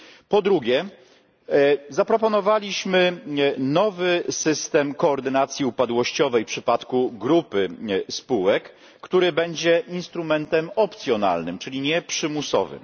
Po drugie, zaproponowaliśmy nowy system koordynacji upadłościowej w przypadku grupy spółek, który będzie instrumentem opcjonalnym, czyli nieprzymusowym.